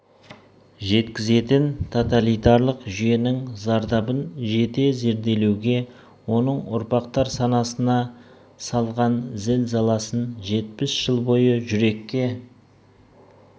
жеткізетін тоталитарлық жүйенің зардабын жете зерделеуге оның ұрпақтар санасына салған зіл-заласын жетпіс жыл бойы жүрекке